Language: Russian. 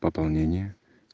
пополнение